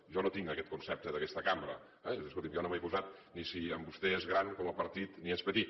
jo no tinc aguest concepte d’aquesta cambra eh escolti’m jo no m’he posat ni si amb vostè és gran com a partit ni si és petit